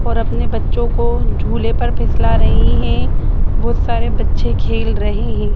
और अपने बच्चों को झूले पर फिसला रही है बहुत सारे बच्चे खेल रहे है।